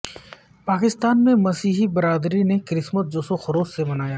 پاکستان میں مسیحی برادری نے کرسمس جوش و خروش سے منایا